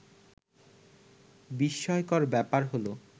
বিস্ময়কর ব্যাপার হলো